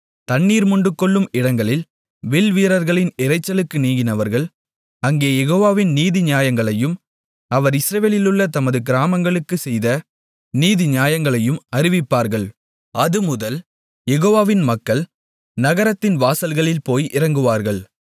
தண்ணீர் மொண்டுகொள்ளும் இடங்களில் வில்வீரர்களின் இரைச்சலுக்கு நீங்கினவர்கள் அங்கே யெகோவாவின் நீதிநியாயங்களையும் அவர் இஸ்ரவேலிலுள்ள தமது கிராமங்களுக்குச் செய்த நீதிநியாயங்களையும் அறிவிப்பார்கள் அதுமுதல் யெகோவாவின் மக்கள் நகரத்தின் வாசல்களில் போய் இறங்குவார்கள்